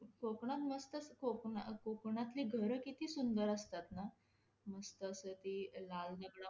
कोकणात मस्तच कोकण्~ काकणातली घर किती सुंदर असतात ना? मस्त अस ते लाल दगड,